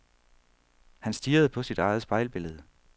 Han stirrede på sit eget spejlbillede.